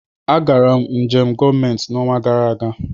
Agara m njem gọọmentị n'ọnwa gara aga.